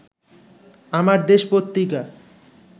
Amardesh Patrika